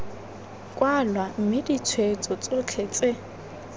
kwalwa mme ditshweetso tsotlhe tse